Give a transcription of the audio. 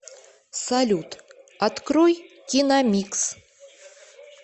салют открой киномикс